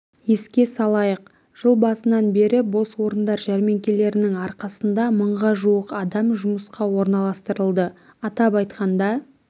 еске салайық жыл басынан бері бос орындар жәрмеңкелерінің арқасында мыңға жуық адам жұмысқа орналастырылды атап айтқанда